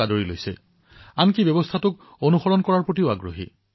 এয়াই নহয় তেওঁলোকে প্ৰণালী অনুসৰণ কৰিবলৈও বিচাৰে